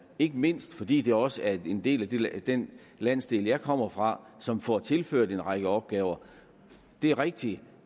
ikke mindst fordi det også er en del af den landsdel jeg kommer fra som får tilført en række opgaver det er rigtigt